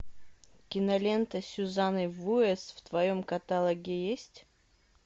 кинолента с сюзанной вуэст в твоем каталоге есть